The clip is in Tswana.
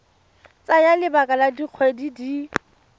tsaya lebaka la dikgwedi di